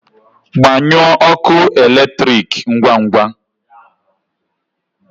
Gbanyụọ ọkụ eletrik ngwa ngwa!